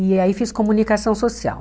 E aí fiz comunicação social.